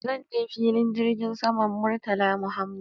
Zan je filin jirgin saman Murtala Muhammad